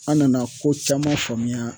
An nana ko caman faamuya